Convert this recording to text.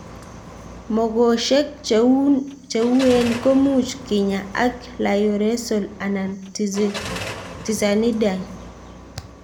Mong'oshek che uen ko much kenyaa ak lioresal anan tizanidine